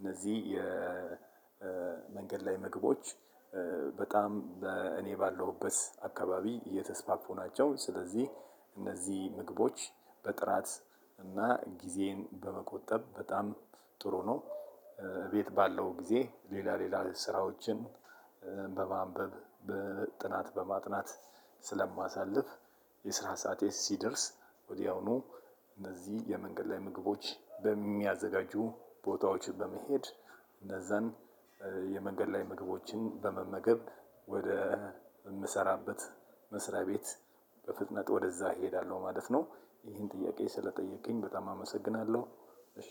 እነዚህ የመንገድ ላይ ምግቦች በጣም እኔ ባለሁበት አካባቢ እየተስፋፉ ናቸው። ስለዚህ እነዚህ ምግቦች በጥራት እና ጊዜዬን በመቆጠብ በጣም ጥሩ ነው። ቤት ባለሁ ጊዜ ሌላ ሌላ ስራዎችን በማንበብ፣ በጥናት በማጥናት ስለማሳልፍ የስራ ሰዓቴ ሲደርስ ወዲያውኑ እነዚህ የመንገድ ላይ ምግቦች በሚያዘጋጁ ቦታዎች በመሄድ እነዛን የመንገድ ላይ ምግቦችን በመመገብ ወደ ምንሰራበት መስሪያ ቤት በፍጥነት ወደዛ እሄዳለሁ ማለት ነው። ይሄን ጥያቄ ስለጠየከኝ በጣም አመሰግናለሁ። እሺ